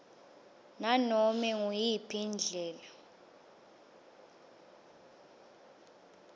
nganobe nguyiphi indlela